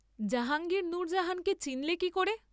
জাহাঙ্গীর নূরজাহানকে চিন্‌লে কি করে?